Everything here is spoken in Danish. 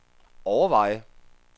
overveje